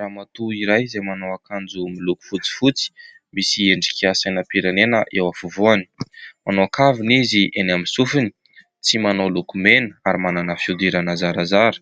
Ramatoa iray izay manao akanjo miloko fotsifotsy, misy endrika sainam-pirenena eo afovoany. Manao kavina izy eny amin'ny sofiny, tsy manao lokomena ary manana fihodirana zarazara.